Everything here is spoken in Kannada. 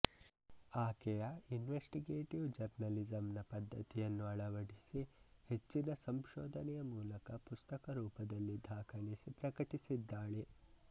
ಆಕೆಯ ಇನ್ವೆಸ್ಟಿಗೇಟೀವ್ ಜರ್ನಲಿಸಮ್ ನ ಪದ್ಧತಿಯನ್ನು ಅಳವಡಿಸಿ ಹೆಚ್ಚಿನ ಸಂಶೋಧನೆಯ ಮೂಲಕ ಪುಸ್ತಕರೂಪದಲ್ಲಿ ದಾಖಲಿಸಿ ಪ್ರಕಟಿಸಿದ್ದಾಳೆ